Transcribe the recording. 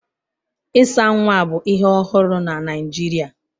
Ịsa nwa bụ ihe ọhụrụ na Naịjirịa